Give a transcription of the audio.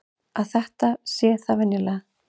Að það sé þetta venjulega.